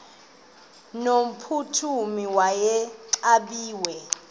no mphuthumi wayexakiwe